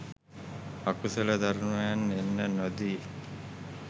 අකුසල ධර්මයන් එන්න නොදී